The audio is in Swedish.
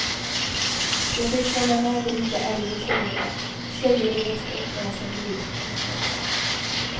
De fick följa med de lite äldre tjejerna, tjejer de växt upp med som blivit som systrar för dem.